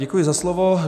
Děkuji za slovo.